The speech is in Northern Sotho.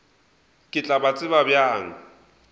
ke tla ba tseba bjang